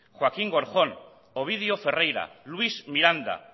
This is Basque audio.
joaquín gorjón ovidio ferreira luis miranda